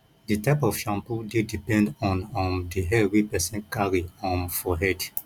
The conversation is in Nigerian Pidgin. di type of shampoo dey depend on um di hair wey person carry um for head